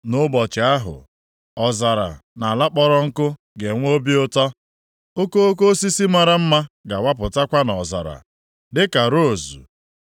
Nʼụbọchị ahụ, ọzara na ala kpọrọ nkụ ga-enwe obi ụtọ; okoko osisi mara mma ga-awapụtakwa nʼọzara. Dịka rozu,